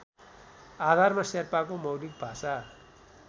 आधारमा शेर्पाको मौलिक भाषा